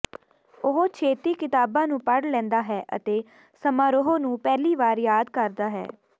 ਉਹ ਛੇਤੀ ਕਿਤਾਬਾਂ ਨੂੰ ਪੜ੍ਹ ਲੈਂਦਾ ਹੈ ਅਤੇ ਸਮਾਰੋਹ ਨੂੰ ਪਹਿਲੀ ਵਾਰ ਯਾਦ ਕਰਦਾ ਹੈ